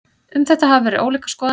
Um þetta hafa verið ólíkar skoðanir.